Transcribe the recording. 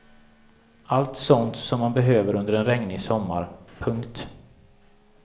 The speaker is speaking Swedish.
Allt sånt som man behöver under en regnig sommar. punkt